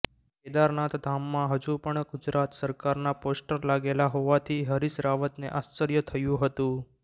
કેદારનાથ ધામમાં હજુ પણ ગુજરાત સરકારના પોસ્ટર લાગેલા હોવાથી હરીશ રાવતને આશ્ચર્ય થયું હતું